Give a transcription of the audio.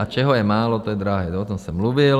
A čeho je málo, to je drahé - o tom se mluvil.